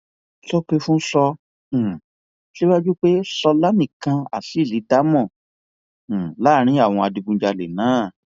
sókèfùn sọ um síwájú pé ṣọlá nìkan ni azeez dá mọ um láàrin àwọn adigunjalè náà